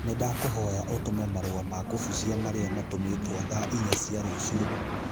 Nĩndakũhoya ũtũme marũa ma kũbucia marĩa matũmĩtwo thaa inya cia rũciũ